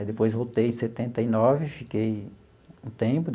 Aí, depois, voltei em setenta e nove, fiquei um tempo.